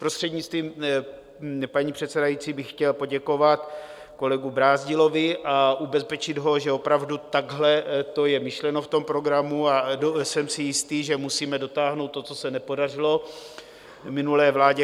Prostřednictvím paní předsedající bych chtěl poděkovat kolegu Brázdilovi a ubezpečit ho, že opravdu takhle to je myšleno v tom programu, a jsem si jistý, že musíme dotáhnout to, co se nepodařilo minulé vládě.